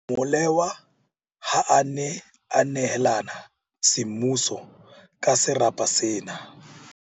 Molewa ha a ne a neelana semmuso ka serapa sena.